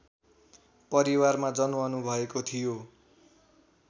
परिवारमा जन्मनुभएको थियो